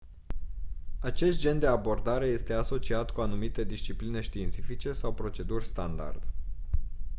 acest gen de abordare este asociat cu anumite discipline științifice sau proceduri standard